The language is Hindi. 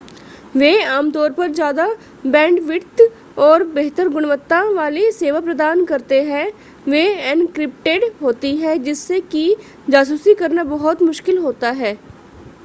वे आमतौर पर ज्यादा बैंडविड्थ और बेहतर गुणवत्ता वाली सेवा प्रदान करते हैं वे एन्क्रिप्टेड होती हैं जिससे कि जासूसी करना बहुत मुश्किल होता है